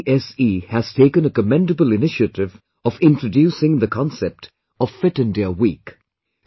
CBSE has taken a commendable initiative of introducing the concept of 'Fit India week'